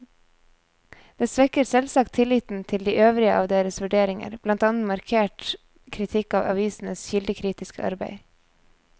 Det svekker selvsagt tilliten til de øvrige av deres vurderinger, blant annet markert kritikk av avisenes kildekritiske arbeid.